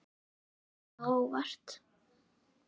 Hver hefur komið á óvart?